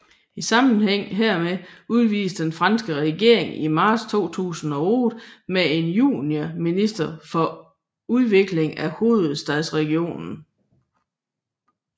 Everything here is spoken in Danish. I sammenhæng hermed udvidedes den franske regering i marts 2008 med en juniorminister for udvikling af hovedstadsregionen